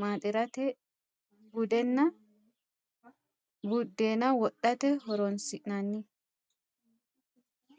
maaxxirate, budeenna wodhate horonsinnanni